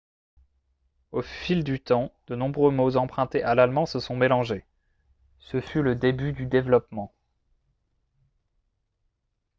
au fil du temps de nombreux mots empruntés à l'allemand se sont mélangés ce fut le début du développement